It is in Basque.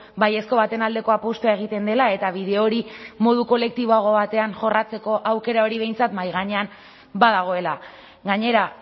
baiezko baten aldeko apustua egiten dela eta bide hori modu kolektiboago batean jorratzeko aukera hori behintzat mahai gainean badagoela gainera